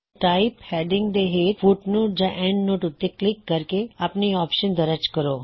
type heading ਦੇ ਹੇਠ footnote ਜਾਂ ਐੱਨਡਨੋਟ ਉੱਤੇ ਕਲਿੱਕ ਕਰਕੇ ਆਪਣੀ ਆਪਸ਼ਨ ਦਰਜ ਕਰੋ